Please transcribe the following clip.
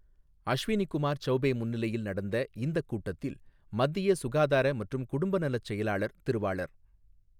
அஷ்வினி குமார் சௌபே முன்னிலையில் நடந்த இந்தக் கூட்டத்தில், மத்திய சுகாதார மற்றும் குடும்ப நலச் செயலாளர் திருவாளர்.